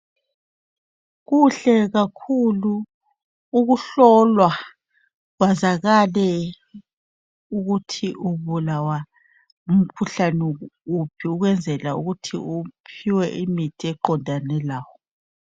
Kuhle kakhulu ukuhlolwa kwazakale ukuthi ubulawa ngumkhuhlane wuphi ukwenzela ukuthi uphiwe imithi eqondane lawe.